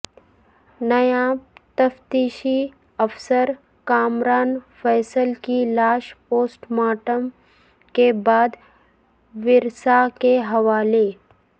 NAB تفتیشی افسر کامران فیصل کی لاش پوسٹ مارٹم کے بعد ورثا کے حوالے